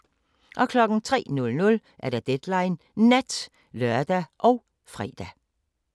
03:00: Deadline Nat (lør og fre)